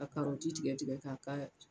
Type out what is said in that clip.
K'a tigɛ tigɛ k'a k'a la.